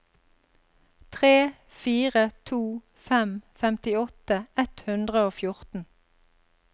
tre fire to fem femtiåtte ett hundre og fjorten